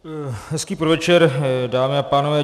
Hezký podvečer dámy a pánové.